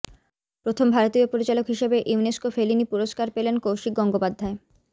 প্রথম ভারতীয় পরিচালক হিসাবে ইউনেসকো ফেলিনি পুরস্কার পেলেন কৌশিক গঙ্গোপাধ্যায়